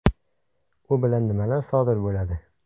U bilan nimalar sodir bo‘ladi?